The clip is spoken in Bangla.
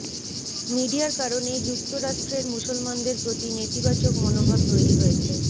মিডিয়ার কারণেই যুক্তরাষ্ট্রের মুসলমানদের প্রতি নেতিবাচক মনোভাব তৈরি হয়েছে